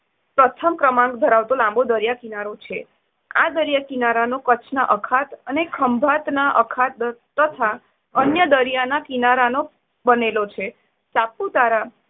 પ્રથમ ક્રમાંક ધરાવતો લાંબો દરિયા કિનારો છે. આ દરિયા કિનારાનો કચ્છના અખાત અને ખંભાતના અખાત તથા અન્ય દરિયાના કિનારાનો બનેલો છે. સાપુતારા